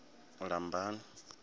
lambani